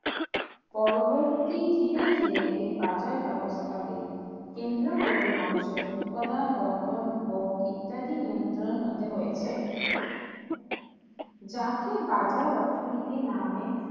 পরবর্তী ধীরে ধীরে এই বাজার ব্যবস্থাকে কেন্দ্র করে মানুষের উৎপাদন বন্টন ভোগ ইত্যাদি নিয়ন্ত্রিত হতে হয়েছে যাকে বাজার অর্থনীতি নামে